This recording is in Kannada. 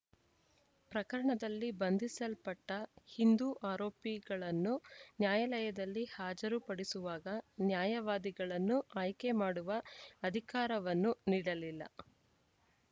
ಪ್ರಕರಣದಲ್ಲಿ ಬಂಧಿಸಲ್ಪಟ್ಟಹಿಂದೂ ಆರೋಪಿಗಳನ್ನು ನ್ಯಾಯಾಲಯದಲ್ಲಿ ಹಾಜರು ಪಡಿಸುವಾಗ ನ್ಯಾಯವಾದಿಗಳನ್ನು ಆಯ್ಕೆ ಮಾಡುವ ಅಧಿಕಾರವನ್ನೂ ನೀಡಲಿಲ್ಲ